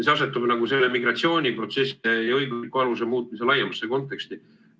See asetab selle migratsiooniprotsesside õigusliku aluse muutmise laiemasse konteksti.